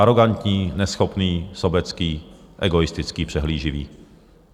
Arogantní, neschopný, sobecký, egoistický, přehlíživý.